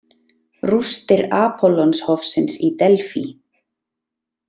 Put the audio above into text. Rústir Apollonshofsins í Delfí.